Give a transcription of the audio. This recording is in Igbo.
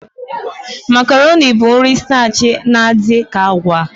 Makaroni bụ nri stachi na-adị ka agwa.